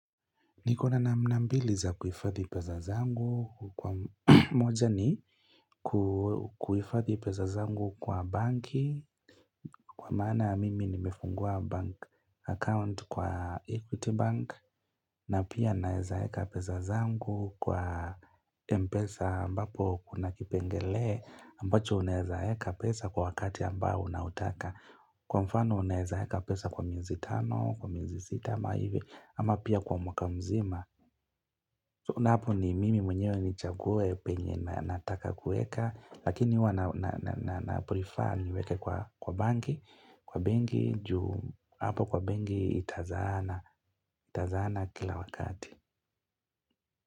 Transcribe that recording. Niko na namna mbili za kuhifadhi pesa zangu. Moja ni kuifadhi pesa zangu kwa banki. Kwa maana mimi nimefungua bank account kwa equity bank. Na pia naezaeka pesa zangu kwa mpesa ambapo kuna kipengele. Ambacho unaezaeka pesa kwa wakati ambao unautaka. Kwa mfano unaezaeka pesa kwa miezi tano, kwa miezi sita, ama pia kwa mwaka mzima. Unaona hapo ni mimi mwenyewe nichague penye na nataka kuweka, lakini huwa naprefer niweke kwa banki, kwa bengi, hapo kwa bengi itazaana, itazaana kila wakati.